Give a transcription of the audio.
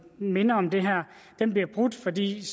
minder om det her brudt fordi